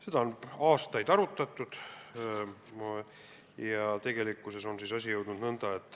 Seda on aastaid arutatud.